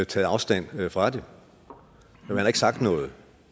taget afstand fra det man har ikke sagt noget